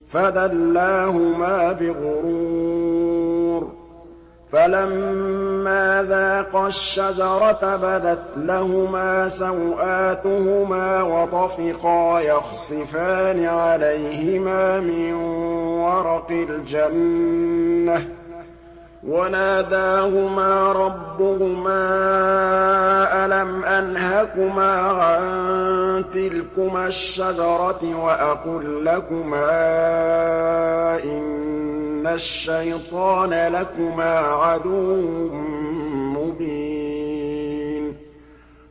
فَدَلَّاهُمَا بِغُرُورٍ ۚ فَلَمَّا ذَاقَا الشَّجَرَةَ بَدَتْ لَهُمَا سَوْآتُهُمَا وَطَفِقَا يَخْصِفَانِ عَلَيْهِمَا مِن وَرَقِ الْجَنَّةِ ۖ وَنَادَاهُمَا رَبُّهُمَا أَلَمْ أَنْهَكُمَا عَن تِلْكُمَا الشَّجَرَةِ وَأَقُل لَّكُمَا إِنَّ الشَّيْطَانَ لَكُمَا عَدُوٌّ مُّبِينٌ